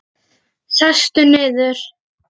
Sestu niður.